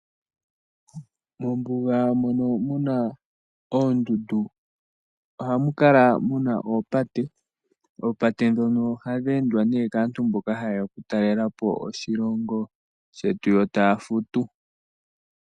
Mombuga mono muna oondundu ohamu kala muna oopate. Oopate dhono ohadhi endwa nee kaantu mbono ha yeya oku talelapo oshilongo shetu yo taya futu